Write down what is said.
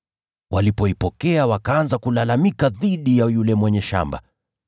Walipoipokea, wakaanza kulalamika dhidi ya yule mwenye shamba,